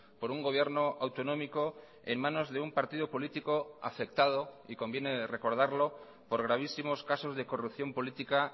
por un gobierno autonómico en manos de un partido político afectado y conviene recordarlo por gravísimos casos de corrupción política